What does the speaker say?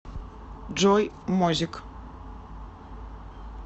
джой мозик